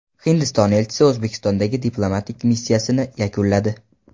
Hindiston elchisi O‘zbekistondagi diplomatik missiyasini yakunladi.